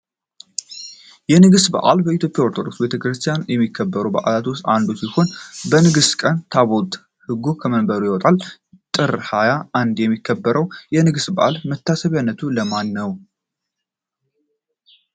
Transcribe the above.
የንግስ በዓል በኢትዮጵያ ኦርቶዶክስ ቤተክርስቲያን ከሚከበሩ በዓላት ውስጥ አንዱ ነው። በንግስ ቀን ታቦተ ህጉ ከመንበሩ ይወጣል። ጥር ሀያ አንድ የሚከበረው የንግስ በዓል መታሰቢያነቱ ለማን ነው?